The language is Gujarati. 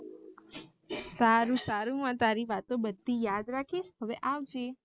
સારું સારું આ તારી વાતો બધી યાદ રાખીશ હવે આવજે